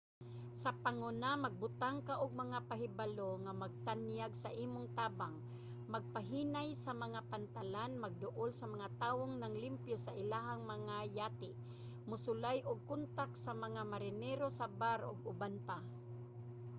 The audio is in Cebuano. sa panguna magbutang ka og mga pahibalo nga magtanyag sa imong tabang magpahinay sa mga pantalan magduol sa mga tawong nanglimpyo sa ilahang mga yate mosulay og kontak sa mga marinero sa bar ug uban pa